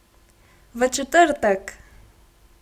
V četrtek!